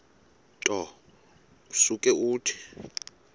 nto usuke uthi